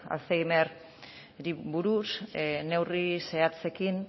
alzheimerrari buruz neurri zehatzekin